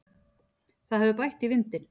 Það hefur bætt í vindinn.